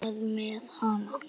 Hvað með hana?